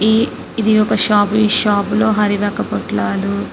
ఇది ఒక షాప్ ఈ షాప్ లో హరి వక్క పొట్లాలు --.